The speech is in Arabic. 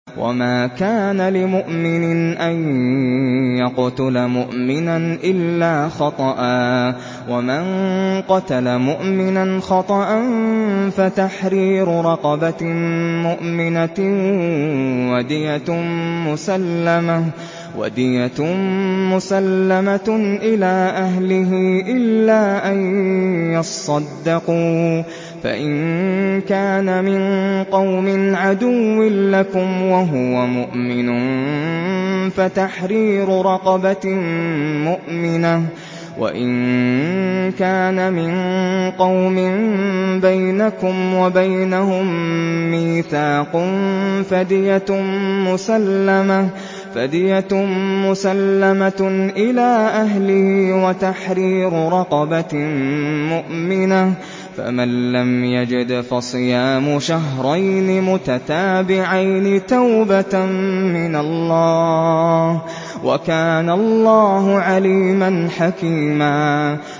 وَمَا كَانَ لِمُؤْمِنٍ أَن يَقْتُلَ مُؤْمِنًا إِلَّا خَطَأً ۚ وَمَن قَتَلَ مُؤْمِنًا خَطَأً فَتَحْرِيرُ رَقَبَةٍ مُّؤْمِنَةٍ وَدِيَةٌ مُّسَلَّمَةٌ إِلَىٰ أَهْلِهِ إِلَّا أَن يَصَّدَّقُوا ۚ فَإِن كَانَ مِن قَوْمٍ عَدُوٍّ لَّكُمْ وَهُوَ مُؤْمِنٌ فَتَحْرِيرُ رَقَبَةٍ مُّؤْمِنَةٍ ۖ وَإِن كَانَ مِن قَوْمٍ بَيْنَكُمْ وَبَيْنَهُم مِّيثَاقٌ فَدِيَةٌ مُّسَلَّمَةٌ إِلَىٰ أَهْلِهِ وَتَحْرِيرُ رَقَبَةٍ مُّؤْمِنَةٍ ۖ فَمَن لَّمْ يَجِدْ فَصِيَامُ شَهْرَيْنِ مُتَتَابِعَيْنِ تَوْبَةً مِّنَ اللَّهِ ۗ وَكَانَ اللَّهُ عَلِيمًا حَكِيمًا